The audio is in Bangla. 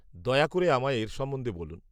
দয়া করে আমায় এর সম্বন্ধে বলুন।